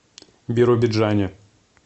биробиджане